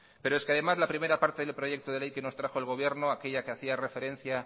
pero es que además la primera parte del proyecto de ley que nos trajo el gobierno aquella que hacía referencia